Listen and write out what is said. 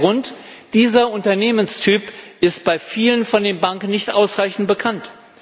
Der Grund Dieser Unternehmenstyp ist bei vielen Banken nicht ausreichend bekannt.